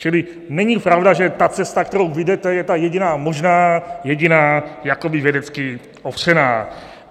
Čili není pravda, že ta cesta, kterou vy jdete, je ta jediná možná, jediná jakoby vědecky opřená.